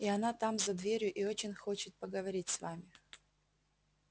и она там за дверью и очень хочет поговорить с вами